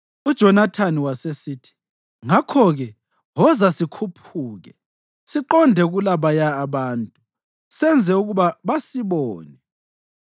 UJonathani wasesithi, “Ngakho-ke, woza sikhuphuke siqonde kulabaya abantu senze ukuba basibone.